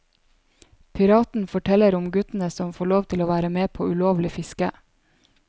Piraten forteller om guttene som får lov til å være med på ulovlig fiske.